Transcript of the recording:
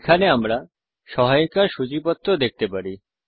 এখানে আমরা এই সহায়িকার সূচিপত্র দেখতে পারি